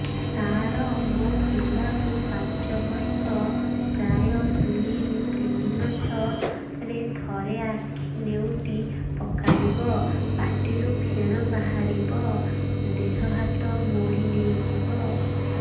ସାର ମୋ ପିଲା କୁ ପାଞ୍ଚ ବର୍ଷ ପ୍ରାୟ ଦୁଇରୁ ତିନି ମାସ ରେ ଥରେ ଆଖି ନେଉଟି ପକାଇବ ପାଟିରୁ ଫେଣ ବାହାରିବ ଦେହ ହାତ ମୋଡି ନେଇଯିବ